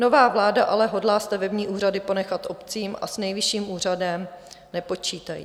Nová vláda ale hodlá stavební úřady ponechat obcím a s Nejvyšším úřadem nepočítají.